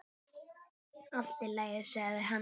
Allt í lagi, sagði hann.